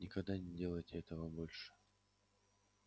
никогда не делайте этого больше